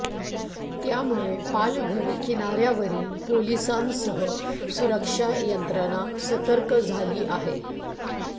त्यामुळे पालघर किनाऱ्यावरील पोलिसांसह सुरक्षा यंत्रणा सतर्क झाली आहे